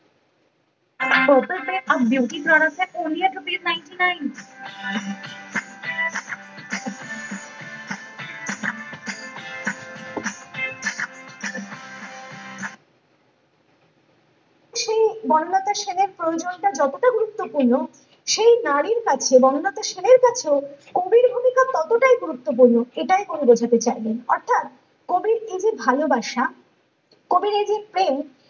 সেই বনলতা সেনের প্রয়োজনীয়তা যতটা গুরুত্বপূর্ণ সেই নারীর কাছে বনলতা সেনের কাছেও কবির ভূমিকা ততটাই গুরত্বপূর্ণ এ এটাই কবি বোঝাতে চাইলেন অর্থাৎ কবির এই যে ভালোবাসা কবির এইযে প্রেম